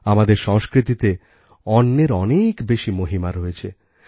আমাদের সংস্কৃতিতে অন্নের অনেক বেশি মহিমা রয়েছে